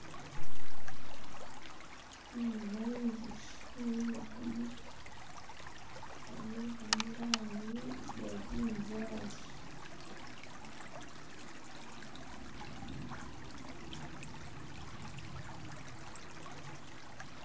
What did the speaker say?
Khembonayo inzuchi yemikhile kukhamuli kamuli kali murangi ye bunzali.